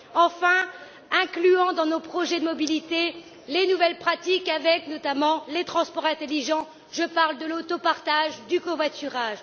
Enfin, incluons dans nos projets de mobilité les nouvelles pratiques avec notamment les transports intelligents, je parle de l'autopartage, du covoiturage.